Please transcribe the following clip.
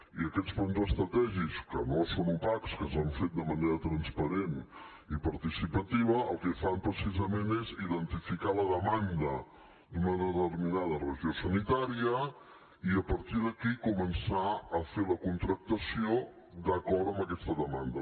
i aquests plans estratègics que no són opacs que s’han fet de manera transparent i participativa el que fan precisament és identificar la demanda d’una determinada regió sanitària i a partir d’aquí començar a fer la contractació d’acord amb aquesta demanda